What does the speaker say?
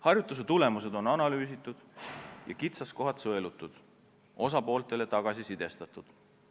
Harjutuse tulemused on analüüsitud ja kitsaskohad sõelutud, osapooltele tagasiside antud.